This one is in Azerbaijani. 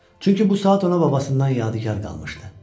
Çünki bu saat ona babasından yadigar qalmışdı.